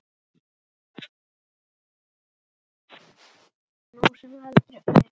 Nú sem aldrei fyrr.